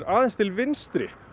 aðeins til vinstri